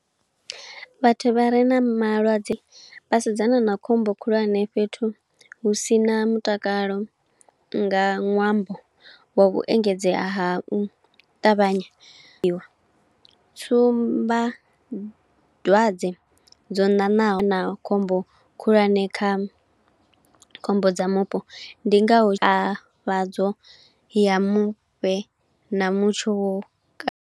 Vhathu vha re na malwadze, vha sedzana na khombo khulwane fhethu hu sina mutakalo nga ṅwambo, wa vhu engedzea ha u ṱavhanyiwa. Tsumba dzwadze dzo ṋaṋaho na khombo khulwane kha khombo dza mupo, ndi nga ho a fhadzo ya mufhe na mutsho ka.